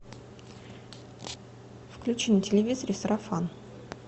включи на телевизоре сарафан